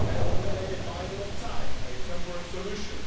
only a buying of time, a temporary solution.